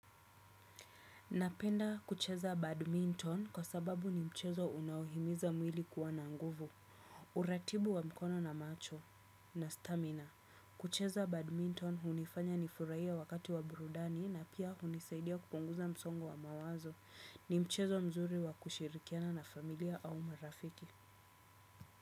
Napenda kucheza badminton kwa sababu ni mchezo unohimiza mwili kuwa na nguvu. Uratibu wa mkono na macho na stamina. Kucheza badminton hunifanya nifurahie wakati wa burudani na pia hunisaidia kupunguza msongo wa mawazo. Ni mchezo mzuri wa kushirikiana na familia au marafiki.